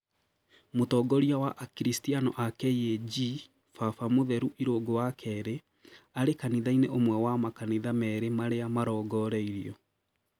Mũtongoria wa akiriastiano a KAG, baba mutheru Irungu wa Keri, arĩ kanitha-inĩ ũmwe wa makanitha merĩ marĩa marongoreirio